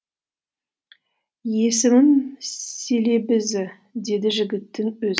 есімім селебезі деді жігіттің